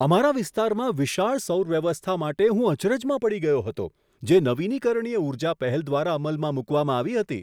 અમારા વિસ્તારમાં વિશાળ સૌર વ્યવસ્થા માટે હું અચરજમાં પડી ગયો હતો, જે નવીનીકરણીય ઊર્જા પહેલ દ્વારા અમલમાં મૂકવામાં આવ્યાં હતાં.